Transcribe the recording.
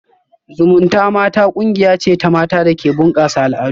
Zumunta mata kungiya ce ta mata da ke bunkasa al'adu